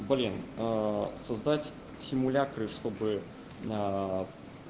создать симуляторы чтобы на